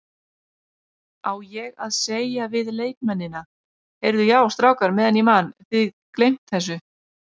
Á ég að segja við leikmennina, Heyrðu já strákar meðan ég man, þið gleymt þessu?